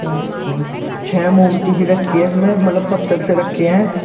चार पाँच छः मूर्ति रखी है मतलब पत्थर से रखे है।